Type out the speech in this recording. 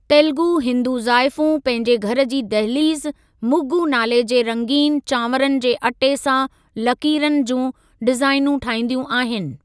तेलुगु हिंदू जाइफूं पंहिंजे घर जी दहलीज़ मुग्‍गु नाले जे रंगीन चावरनि जे अटे सां लकीरनि जूं डिज़ाइनूं ठाइंदियूं आहिनि।